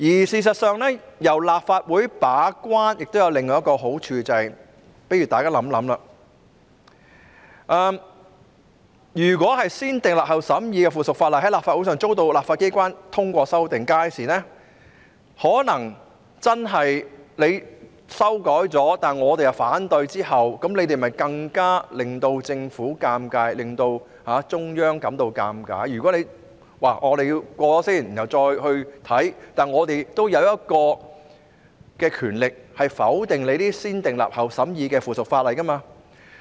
事實上，由立法會把關亦有另一個好處，大家試想想，如果經"先訂立後審議"的程序訂立的附屬法例在立法會上遭到反對，即使已經作出修改，但我們卻表示反對，屆時便會令政府尷尬，亦會令中央感到尷尬，因為即使先訂立後才審議，我們仍有權力否決這些"先訂立後審議"的附屬法例。